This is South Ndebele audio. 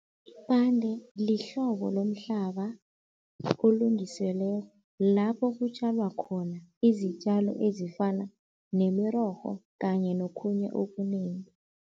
lihlobo lomhlaba olungiselwe lapho kutjalwa khona izitjalo ezifana nemirorho kanye nokhunye okunengi.